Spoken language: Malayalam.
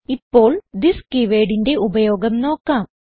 ഇപ്പോൾ തിസ് keywordന്റെ ഉപയോഗം നോക്കാം